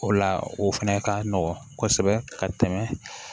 O la o fɛnɛ ka nɔgɔn kosɛbɛ ka tɛmɛ